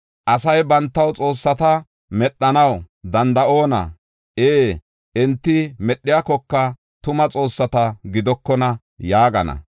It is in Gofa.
Asay bantaw xoossata medhanaw danda7oona? Ee, enti medhiyakoka tuma xoossata gidokona!” yaagana.